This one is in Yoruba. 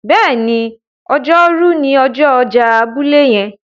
béèni Ọjọ́ Rú ni ọjọ ọjà abúlé yen.